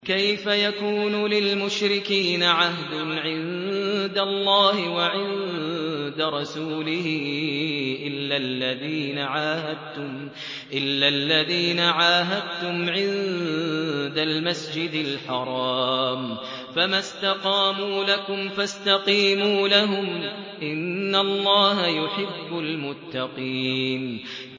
كَيْفَ يَكُونُ لِلْمُشْرِكِينَ عَهْدٌ عِندَ اللَّهِ وَعِندَ رَسُولِهِ إِلَّا الَّذِينَ عَاهَدتُّمْ عِندَ الْمَسْجِدِ الْحَرَامِ ۖ فَمَا اسْتَقَامُوا لَكُمْ فَاسْتَقِيمُوا لَهُمْ ۚ إِنَّ اللَّهَ يُحِبُّ الْمُتَّقِينَ